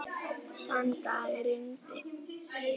Þann dag rigndi.